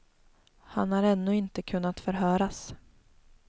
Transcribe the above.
Han har ännu inte kunnat förhöras.